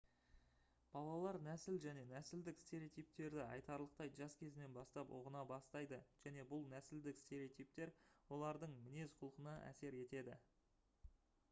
балалар нәсіл және нәсілдік стереотиптерді айтарлықтай жас кезінен бастап ұғына бастайды және бұл нәсілдік стереотиптер олардың мінез-құлқына әсер етеді